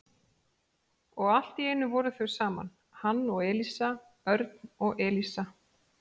Og allt í einu voru þau saman, hann og Elísa, Örn og Elísa.